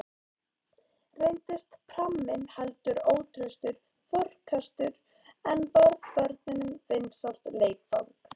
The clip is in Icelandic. Reyndist pramminn heldur ótraustur farkostur, en varð börnunum vinsælt leikfang.